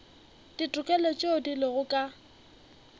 ditokelo tšeo di lego ka